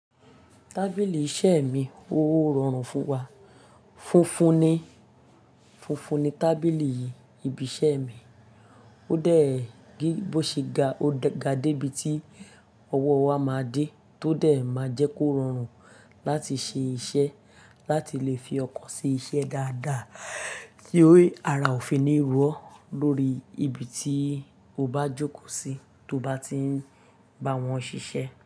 Tábìlì iṣẹ́ mi ó rọrùn fún wa. Funfun ni, funfun ni tábìlì ìbí iṣẹ́ mi. Ó dẹ̀, bó ṣe ga, ó ga dé ibi tí ọwọ́ wa máa dé tó dé máa jẹ́ kó rọrùn láti ṣe iṣẹ́, láti lè fi ọkàn si iṣẹ́ dáadáa, kí ara òfi ni ro ọ lórí ibi tí o bá jókòó sí tó bá ti ń bá wọn ṣiṣẹ́.